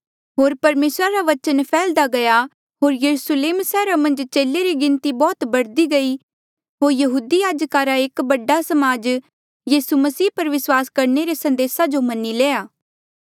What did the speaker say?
होर परमेसरा रा बचन फैहल्दा गया होर यरुस्लेम सैहरा मन्झ चेले री गिणती बौह्त बढ़दी गयी होर यहूदी याजका रा एक बड़ा समाज यीसू मसीह पर विस्वासा करणे रे संदेसा जो मनी लेया